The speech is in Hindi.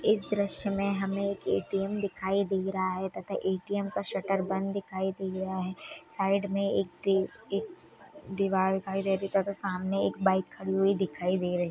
इस द्रश्य मे हमे एक ए_टी_एम दिखाई दे रहा है तथा ए_टी_एम का शटर बांध दिखाई दे रहा है साइड मे एक-ए दीवार दिखाई देरी तथा सामने एक बाइक खड़ी हुई दिखाई दे रही है।